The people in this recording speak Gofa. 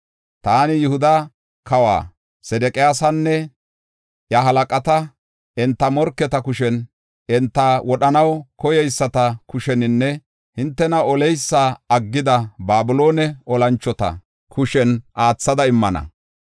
“Taani Yihuda kawa Sedeqiyaasanne iya halaqata, enta morketa kushen, enta wodhanaw koyeyisata kusheninne hintena oleysa aggida Babiloone olanchota kushen aathada immana.